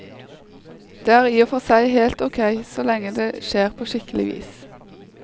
Det er i og for seg helt ok, så lenge det skjer på skikkelig vis.